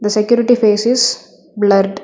The security face is blurred.